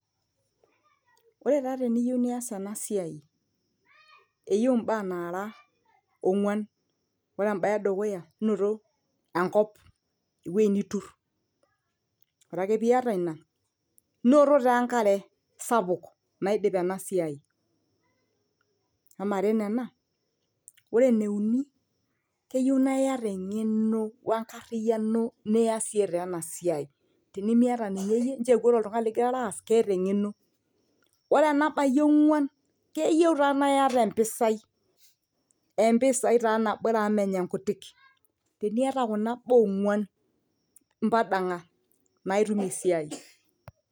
ore taa teniyieu nias ena siai eyieu imbaa nara ong'uan ore embaye edukuya noto enkop ewueji nitur ore ake piata ina inoto taa enkare sapuk naidip ena siai amare nena ore eneuni keyieu naa iyata eng'eno wenkariyiano niasie taa ena siai tinimiata ninye iyie nchoo eku ore oltung'ani lingirara aas keeta eng'eno wore enabayie ong'uan keyieu taa naa iyata empisai empisai taa nabore amu menya inkutik teniata kuna baa ong'uan impadang'a naa itum esiai.